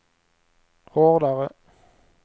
hårdare